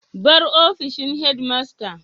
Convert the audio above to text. Bar ofishin headmaster.